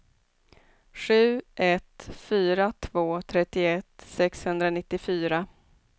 sju ett fyra två trettioett sexhundranittiofyra